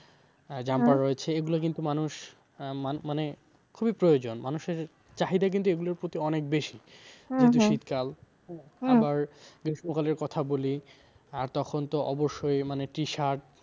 রয়েছে এগুলো কিন্তু মানুষ মানে খুবই প্রয়োজন মানুষের চাহিদা কিন্তু এগুলোর প্রতি অনেক বেশি আবার গ্রীষ্মকালের কথা বলি আর তখন তো অবশ্যই মানে টি শার্ট,